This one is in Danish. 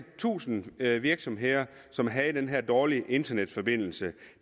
tusind virksomheder som havde den her dårlige internetforbindelse